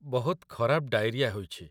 ବହୁତ ଖରାପ ଡାଇରିଆ ହୋଇଛି।